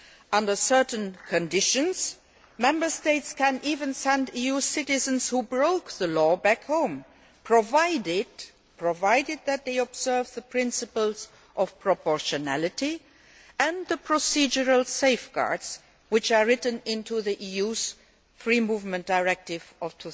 Under certain conditions, Member States can even send EU citizens who have broken the law back home, provided that they observe the principles of proportionality and the procedural safeguards which are written into the EU Free Movement Directive of